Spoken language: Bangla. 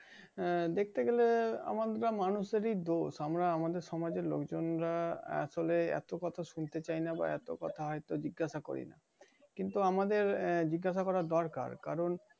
আহ দেখতে গেলে আমার মনের মানুষেরই দোষ আমরা আমাদের সমাজের লোকজন আসলে এত কথা শুনতে চাই না বা এত কথা হয়তো জিজ্ঞাসা করি না। কিন্তু আমাদের আহ জিজ্ঞাসা করা দরকার কারন